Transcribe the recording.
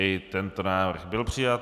I tento návrh byl přijat.